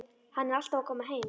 Hann er alltaf að koma heim.